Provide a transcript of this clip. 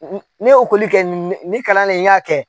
Ne ye ekɔli kɛ, ni kalan ne n y'a kɛ